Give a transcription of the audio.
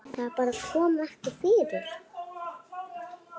Það bara kom ekki fyrir.